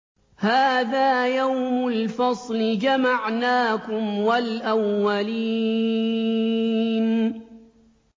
هَٰذَا يَوْمُ الْفَصْلِ ۖ جَمَعْنَاكُمْ وَالْأَوَّلِينَ